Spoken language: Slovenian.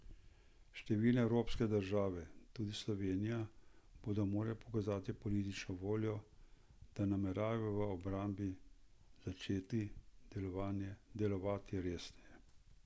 Številne evropske države, tudi Slovenija, bodo morale pokazati politično voljo, da nameravajo v obrambi začeti delovati resneje.